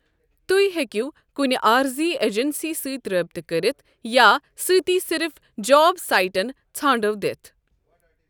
توہۍ ہیٚکِو کنہِ عارضی اجنسی سۭتۍ رٲبِطہٕ كٔرِتھ یا سٕتی صِرف جوب سایٹن ژھانڈو دِتھ ۔